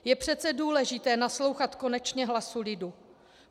Je přece důležité naslouchat konečně hlasu lidu.